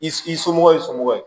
I somɔgɔ ye i somɔgɔ ye